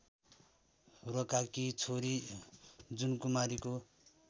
रोकाकी छोरी जुनकुमारीको